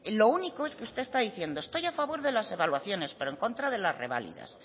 lo único es que usted está diciendo estoy a favor de las evaluaciones pero en contra de las reválidas